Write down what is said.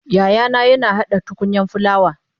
yayana yina hada tukunyan fulawa